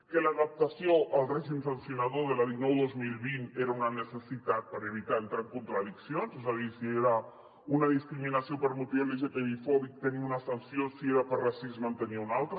que l’adaptació al règim sancionador de la dinou dos mil vint era una necessitat per evitar entrar en contradiccions és a dir si era una discriminació per motiu lgtbi fòbic tenia una sanció si era per racisme en tenia una altra